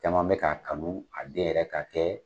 Caman be ka kanu a den yɛrɛ ka kɛ